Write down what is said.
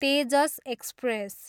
Tejas express